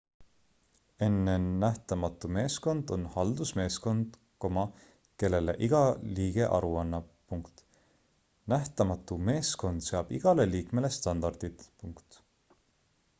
nn nähtamatu meeskond on haldusmeeskond kellele iga liige aru annab nähtamatu meeskond seab igale liikmele standardid